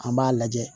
An b'a lajɛ